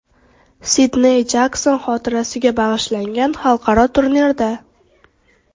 Sidney Jakson xotirasiga bag‘ishlangan xalqaro turnirda.